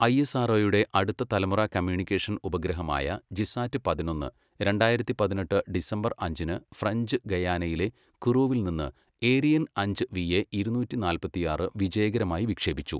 ഐഎസ്ആർഒയുടെ അടുത്ത തലമുറ കമ്മ്യൂണിക്കേഷൻ ഉപഗ്രഹമായ ജിസാറ്റ് പതിനൊന്ന്, രണ്ടായിരത്തി പതിനെട്ട് ഡിസംബർ അഞ്ചിന് ഫ്രഞ്ച് ഗയാനയിലെ കുറൂവിൽ നിന്ന് ഏരിയൻ അഞ്ച് വിഎ ഇരുന്നൂറ്റി നാല്പത്തിയാറ് വിജയകരമായി വിക്ഷേപിച്ചു.